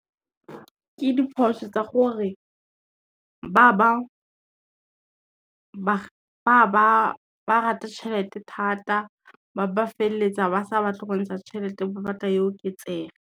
Ke diphoso tsa gore, ba rata tšhelete thata ba ba feleletsa ba sa batle go ntsha tšhelete, ba batla e oketsege.